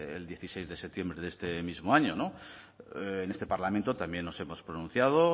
el dieciséis de septiembre de este mismo año no en este parlamento también nos hemos pronunciado